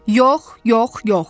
Yox, yox, yox!